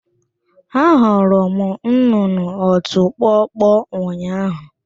Ahụrụ m nnụnụ ọtụ kpọkpọ ụnyahụ